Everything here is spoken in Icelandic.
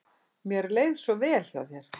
Mér leið svo vel hjá þér.